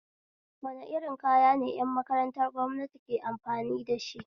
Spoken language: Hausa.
Wani irin kaya ne ƴan makarantar gwamnati ke amfani dashi